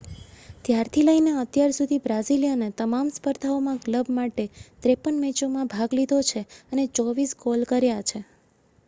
ત્યારથી લઈને અત્યાર સુધી બ્રાઝિલિયને તમામ સ્પર્ધાઓમાં ક્લબ માટે 53 મેચોમાં ભાગ લીધો છે અને 24 ગોલ કર્યા છે